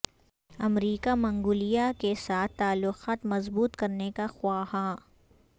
امریکا منگولیا کے ساتھ تعلقات مضبوط کرنے کا خواہاں